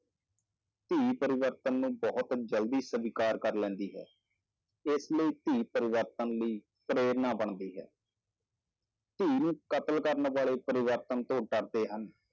ਧੀ ਪਰਿਵਰਤਨ ਨੂੰ ਬਹੁਤ ਜ਼ਲਦੀ ਸਵੀਕਾਰ ਕਰ ਲੈਂਦੀ ਹੈ, ਇਸ ਲਈ ਧੀ ਪਰਿਵਰਤਨ ਲਈ ਪ੍ਰੇਰਨਾ ਬਣਦੀ ਹੈ ਧੀ ਨੂੰ ਕਤਲ ਕਰਨ ਵਾਲੇ ਪਰਿਵਰਤਨ ਤੋਂ ਡਰਦੇ ਹਨ